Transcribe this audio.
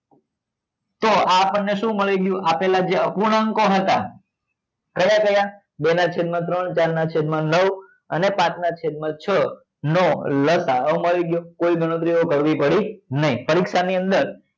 તો આ આપણને સુ મળી ગયું આપલે જે અપૂર્ણાંકો હતા કયા ક્યાં બે ના છેદ માં ત્રણ ચાર ના છેદ માં નવ અને પાંચ ના છેદ માં છ નો લસા અ મળી ગયો કોઈ ગણતરીઓ કરવી પડી નહી પરીક્ષા ની અંદર